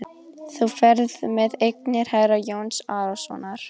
Þú ferð með eignir herra Jóns Arasonar.